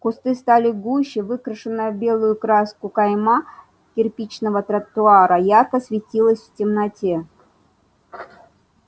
кусты стали гуще выкрашенная в белую краску кайма кирпичного тротуара ярко светилась в темноте